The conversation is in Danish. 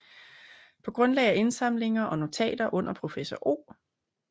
Paa grundlag af indsamlinger og notater under professor O